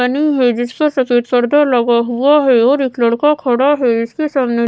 आनी हैं जिसके सफेद पडदा लगा हुआ हैं और एक लड़का खड़ा हैं इसके सामने--